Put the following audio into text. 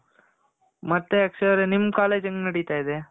ಮತ್ತೆ ಅಕ್ಷಯ್ ಅವರೇ ಸರಿ ನಿಮ್ college ಹೇಗ್ ನೆಡಿತಿದೆ.